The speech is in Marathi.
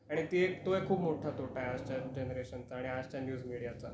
आणि ती एक तो एक खूप मोठा तोटा आहे आजच्या जेनरेशनचा आणि आजच्या न्यूज मिडियाचा.